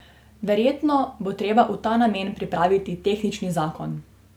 Verjetno bo treba v ta namen pripraviti tehnični zakon.